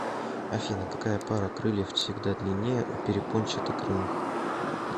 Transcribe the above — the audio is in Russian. афина какая пара крыльев всегда длиннее у перепончатокрылых